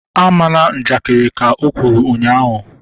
A mana njakiri! Ka o kwuru ụnyaahụ